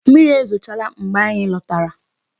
Mmiri ezochala mgbe anyị lọtara.